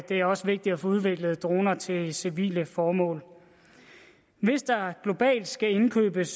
det er også vigtigt at få udviklet droner til civile formål hvis der globalt skal indkøbes